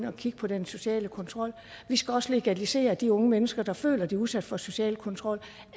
og kigge på den sociale kontrol og vi skal også legalisere de unge mennesker der føler at de er udsat for social kontrol